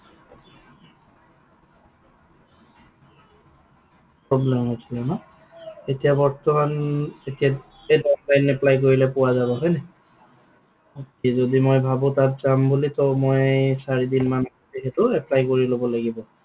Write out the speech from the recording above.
Problem হৈছিলে ন? এতিয়া বৰ্তমান, এতিয়া সেই apply কৰিলে পোৱা যাব হয় নাই? okay যদি মই ভাবো তাত যাম বুলি ত মই চাৰিদিন মান, যিহেতু apply কৰি লব লাগিব।